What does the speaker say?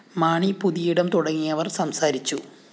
മാണി പുതിയിടം തുടങ്ങിയവര്‍ സംസാരിച്ചു